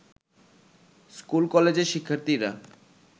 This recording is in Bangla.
স্কুল-কলেজের শিক্ষার্থীরা